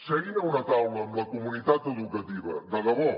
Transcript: seguin a una taula amb la comunitat educativa de debò